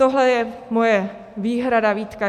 Tohle je moje výhrada, výtka.